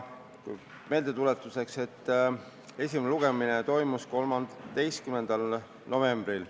Meeldetuletuseks olgu öeldud, et esimene lugemine toimus 5. novembril.